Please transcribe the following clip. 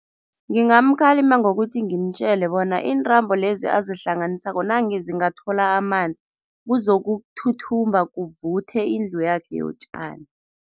Ngingamkhalima ngokuthi ngimtjele bona iintambo lezi azihlanganisako nange zingathola amanzi, kuzokuthuthumba kuvuthe indlu yakhe yotjani.